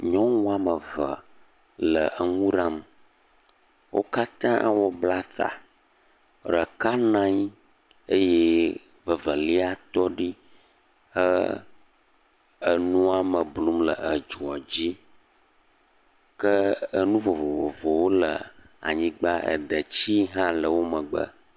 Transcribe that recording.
Nyɔnu woame eve le enuwo ɖam, wo katã wobla nuwo ɖe ta, ɖeka nɔ anyi eye evelia tɔ ɖi he enuame blum le edzoa dzi, ke enu vovovovowo le anyigba detsi hã le wo megbe.